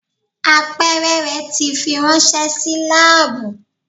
Apeere rẹ ti firanṣẹ si laabu.